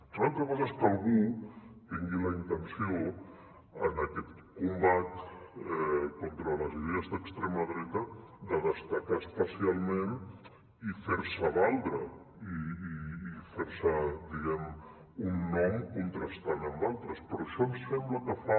una altra cosa és que algú tingui la intenció en aquest combat contra les idees d’extrema dreta de destacar especialment i fer se valdre i fer se diguem ne un nom contrastant amb altres però això ens sembla que fa